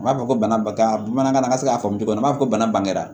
U b'a fɔ ko bana bamanankan na an ka se k'a fɔ cogo min na n b'a fɔ bana